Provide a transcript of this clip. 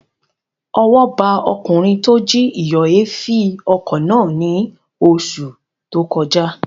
Ọwọ́ ba ọkùnrin tó jí ìyọ̀èéfín ọkọ̀ náà ní oṣù tó kọjá